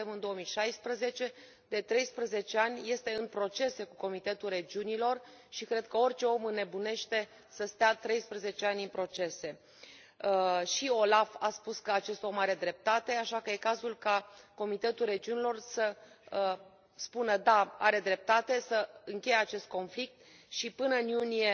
Suntem în 2016, de 13 ani este în proces cu Comitetul Regiunilor și cred că orice om înnebunește să stea 13 ani în procese. Și OLAF a spus că acest om are dreptate, așa că este cazul ca Comitetul Regiunilor să spună, da, are dreptate, să încheie acest conflict și, până în iunie